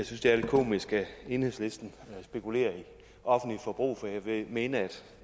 synes det er lidt komisk at enhedslisten spekulerer i offentligt forbrug for jeg vil mene at